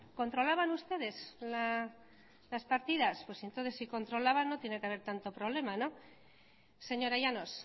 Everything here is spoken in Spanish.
controlaban ustedes las partidas pues entonces si controlaban no tiene que haber tanto problema señora llanos